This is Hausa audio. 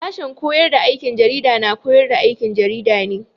Sashen koyar da aikin jarida na koyar da aikin jarida ne.